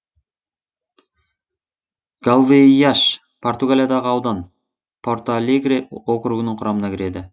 галвейяш португалиядағы аудан порталегре округінің құрамына кіреді